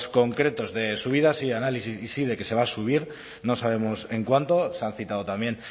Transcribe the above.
concretos de subidas y análisis y sí de que se va a subir no sabemos en cuánto se han citado también